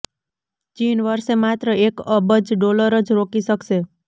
ચીન વરસે માત્ર એક અબજ ડોલર જ રોકી શકશે